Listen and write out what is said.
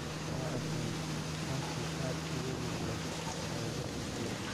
Waa af-hayeen, kaasoo aad ugu lug leh tababarka Klopp.